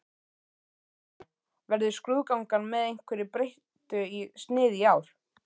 Helga María: Verður skrúðgangan með einhverju breyttu sniði í ár?